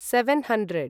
seven hundred